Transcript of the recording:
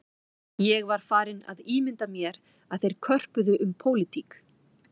Ég var farinn að ímynda mér að þeir körpuðu um pólitík